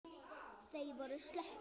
Þau voru slöpp.